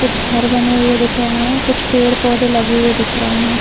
कुछ घर बने हुए दिख रहे हैं कुछ पेड़-पौधे लगे हुए दिख रहे हैं।